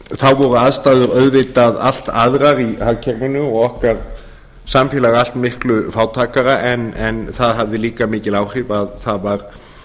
þá voru aðstæður auðvitað allt aðrar í hagkerfinu og okkar samfélag allt miklu fátækara en það hafði líka mikil áhrif að